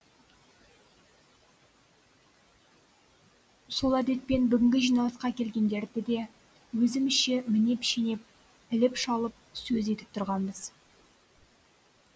сол әдетпен бүгінгі жиналысқа келгендерді де өзімізше мінеп шенеп іліп шалып сөз етіп тұрғанбыз